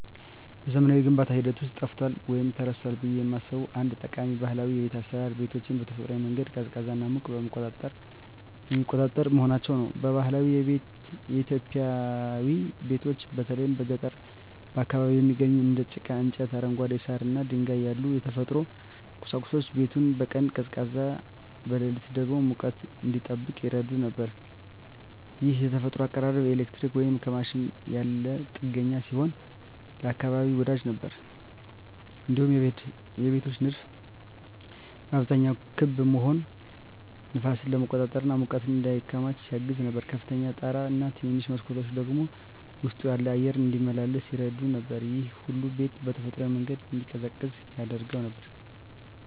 በዘመናዊው የግንባታ ሂደት ውስጥ ጠፍቷል ወይም ተረስቷል ብዬ የማስበው አንድ ጠቃሚ ባህላዊ የቤት አሰራር ቤቶችን በተፈጥሯዊ መንገድ ቀዝቃዛና ሙቀትን የሚቆጣጠር መሆናቸው ነው። በባህላዊ ኢትዮጵያዊ ቤቶች በተለይ በገጠር አካባቢዎች የሚገኙት እንደ ጭቃ፣ እንጨት፣ አረንጓዴ ሳር እና ድንጋይ ያሉ የተፈጥሮ ቁሳቁሶች ቤቱን በቀን ቀዝቃዛ፣ በሌሊት ደግሞ ሙቀት እንዲጠብቅ ይረዱ ነበር። ይህ የተፈጥሮ አቀራረብ ከኤሌክትሪክ ወይም ከማሽን ያለ ጥገኛ ሲሆን ለአካባቢ ወዳጅ ነበር። እንዲሁም የቤቶች ንድፍ በአብዛኛው ክብ መሆኑ ነፋስን ለመቆጣጠር እና ሙቀት እንዳይከማች ያግዝ ነበር። ከፍተኛ ጣራ እና ትንንሽ መስኮቶች ደግሞ ውስጡ ያለው አየር እንዲመላለስ ይረዱ ነበር። ይህ ሁሉ ቤቱ በተፈጥሯዊ መንገድ እንዲቀዝቅዝ ያደርገው ነበር።